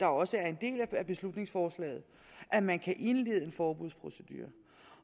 også er en del af beslutningsforslaget at man kan indlede en forbudsprocedure